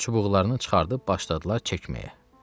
Və çubuqlarını çıxardıb başladılar çəkməyə.